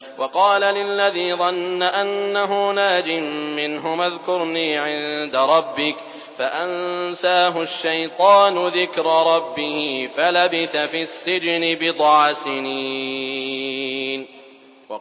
وَقَالَ لِلَّذِي ظَنَّ أَنَّهُ نَاجٍ مِّنْهُمَا اذْكُرْنِي عِندَ رَبِّكَ فَأَنسَاهُ الشَّيْطَانُ ذِكْرَ رَبِّهِ فَلَبِثَ فِي السِّجْنِ بِضْعَ سِنِينَ